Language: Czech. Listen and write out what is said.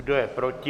Kdo je proti?